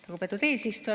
Lugupeetud eesistuja!